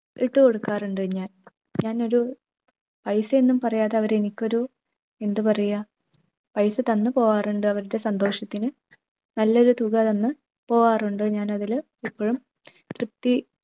ഇട്ടു കൊടുക്കാറുണ്ട് ഞാൻ. ഞാൻ ഒരു പൈസ ഒന്നും പറയാതെ അവർ എനിക്കൊരു എന്താ പറയുക പൈസ തന്നു പോകാറുണ്ട് അവരുടെ സന്തോഷത്തിന് നല്ലൊരു തുക തന്ന് പോകാറുണ്ട്. ഞാൻ അതിൽ ഇപ്പോഴും തൃപ്തി